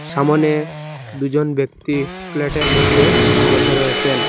সামনে দুজন ব্যক্তি ফ্ল্যাটের মধ্যে বসে রয়েছেন।